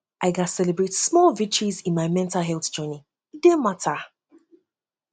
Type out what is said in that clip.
i gats celebrate small victories in my mental health journey e dey matter